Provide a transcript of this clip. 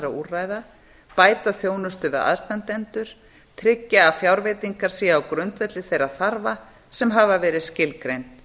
úrræða bæta þjónustu við aðstandendur tryggja að fjárveitingar séu á grundvelli þeirra þarfa sem hafa verið skilgreind